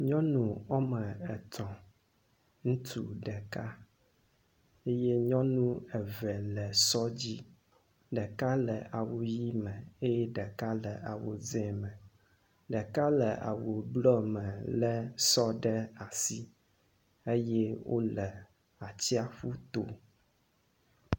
Nyɔnu wɔme etɔ̃ ŋutsu ɖeka eye nyɔnu eve le sɔ dzi. Ɖeka le awu ʋi me eye ɖeka le awu dze me. Ɖeka le awu blɔ me le sɔ ɖe asi eye wo le atiaƒu to.